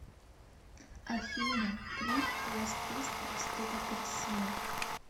афина клип квест пистолс ты так красива